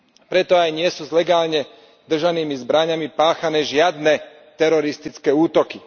Preto aj nie sú s legálne držanými zbraňami páchané žiadne teroristické útoky.